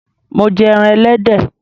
Mo jẹ ẹran Ẹlẹ́dẹ̀